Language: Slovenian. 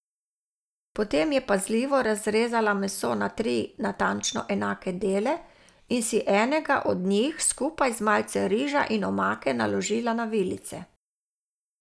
Potem je pazljivo razrezala meso na tri natančno enake dele in si enega od njih skupaj z malce riža in omake naložila na vilice.